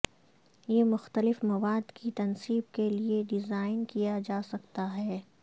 یہ مختلف مواد کی تنصیب کے لئے ڈیزائن کیا جا سکتا ہے